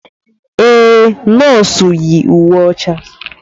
Ee, nọọsụ yi uwe ọcha.